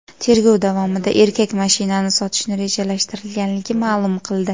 Tergov davomida erkak mashinani sotishni rejalashtirganligini ma’lum qildi.